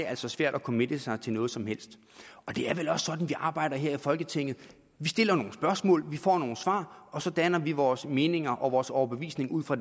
altså svært at committe sig til noget som helst det er vel også sådan arbejder her i folketinget vi stiller nogle spørgsmål vi får nogle svar og så danner vi vores meninger og vores overbevisning ud fra